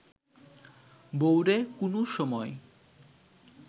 বউরে কুনু সময়